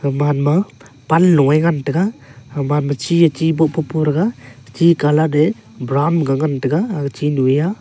gaman ma pan lung nge ngan tega gaman ma chiye chiboh popo thega chi colour te brown ga ngan tega aga chinyu ye aa.